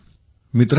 मित्रांनो